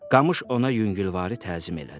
Qamış ona yüngülvarı təzim elədi.